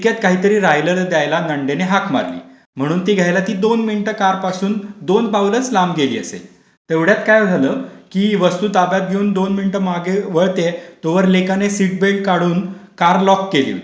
तितक्यात काहीतरी राहिलं ते द्यायला नणंदने हाक मारली. म्हणून ते घ्यायला ती दोन मिनिटं कार पासून दोन पावलं लांब गेली असेल तेवढ्यात काय झालं की वस्तु ताब्यात घेऊन ती दोन मिनिटं मागे वळते तोवर लेकाने सीटबेल्ट काढून कार लॉक केली